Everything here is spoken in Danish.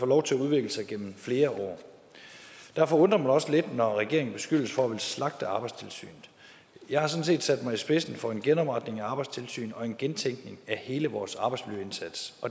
lov til at udvikle sig gennem flere år derfor undrer det mig også lidt når regeringen beskyldes for at ville slagte arbejdstilsynet jeg har sådan set sat mig i spidsen for en genopretning af arbejdstilsynet og en gentænkning af hele vores arbejdsmiljøindsats